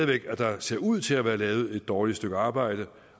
ved at der ser ud til at være lavet et dårligt stykke arbejde